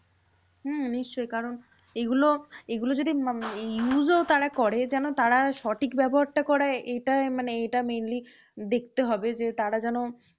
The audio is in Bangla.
হম নিশ্চই কারণ এইগুলো এইগুলো যদি use ও তারা করে যেন তারা সঠিক ব্যবহারটা করায়। এটাই মানে এটা mainly দেখতে হবে যে তারা যেন